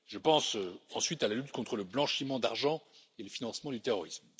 Je pense ensuite à la lutte contre le blanchiment d'argent et le financement du terrorisme.